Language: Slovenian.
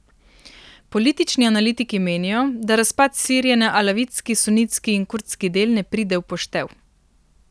Politični analitiki menijo, da razpad Sirije na alavitski, sunitski in kurdski del ne pride v poštev.